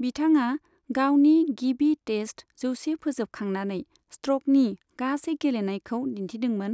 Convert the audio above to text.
बिथाङा गावनि गिबि टेस्ट जौसे फोजोबखांनानै स्ट्रकनि गासै गेलेनायखौ दिन्थिदोंमोन,